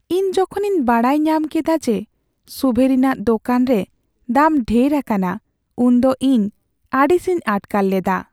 ᱤᱧ ᱡᱚᱠᱷᱚᱱᱤᱧ ᱵᱟᱰᱟᱭ ᱧᱟᱢ ᱠᱮᱫᱟ ᱡᱮ ᱥᱩᱵᱷᱮᱨᱤᱱᱟᱜ ᱫᱳᱠᱟᱱ ᱨᱮ ᱫᱟᱢ ᱰᱷᱮᱨ ᱟᱠᱟᱱᱟ, ᱩᱱᱫᱚ ᱤᱧ ᱟᱹᱲᱤᱥᱤᱧ ᱟᱴᱠᱟᱨ ᱞᱮᱫᱟ ᱾